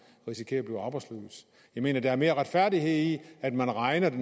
risikerer at blive arbejdsløs jeg mener at der er mere retfærdighed i at man regner det